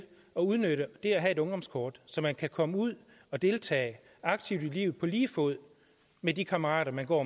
at udnytte det at have et ungdomskort så man kan komme ud og deltage aktivt i livet på lige fod med de kammerater man går